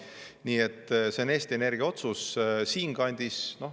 Nii et see on Eesti Energia otsus.